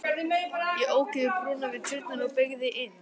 Ég ók yfir brúna við tjörnina og beygði inn